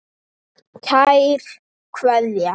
Kær Kveðja.